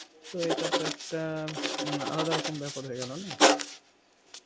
তো এটা তো একটা হম আলাদা রকম ব্যাপার হয়ে গেল না?